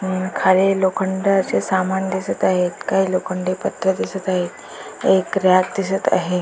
आणि खाली लोखंडाचे सामान दिसत आहे काही लोखंडी पत्र्या दिसत आहे एक रॅक दिसत आहे.